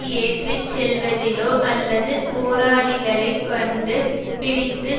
ஏற்றி செல்வதிலோ அல்லது போராளிகளைக் கொண்டு பிடித்து